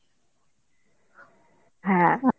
হ্যাঁ